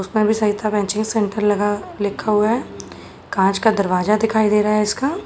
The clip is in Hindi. उसमें भी सेंटर लगा लिखा हुआ है। कांच का दरवाजा दिखाई दे रहा है इसका --